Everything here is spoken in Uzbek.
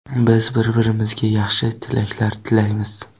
Biz bir-birmizga yaxshi tilaklar tilaymiz.